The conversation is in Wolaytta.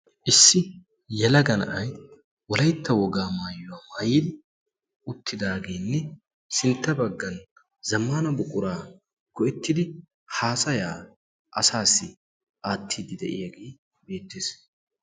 Issi yalaga na'ai wolaitta wogaa maayuwaa maayini uttidaageenne sintta baggan zammana buquraa go'ettidi haasaya asaassi aattiiddi de'iyaagii beettees.